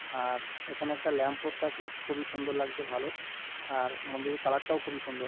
আর এখানে একটা lamp post আছে খুবই সুন্দর লাগছে ভালো। আর মন্দিরের কালার -টাও খুবই সুন্দর।